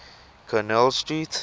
connell street